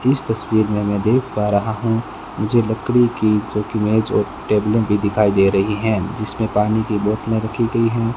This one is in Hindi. इस तस्वीर में मैं देख पा रहा हूं मुझे लकड़ी की जो कि मेज और टेबलें भी दिखाई दे रही हैं जिसमें पानी की बोतलें रखी गई हैं।